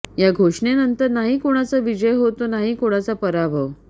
या घोषणे नंतर नाही कोणाचा विजय होतो नाही कोणाचा पराभव